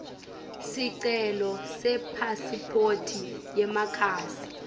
sicelo sepasiphoti yemakhasi